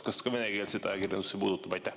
Kas ka venekeelset ajakirjandust see puudutab?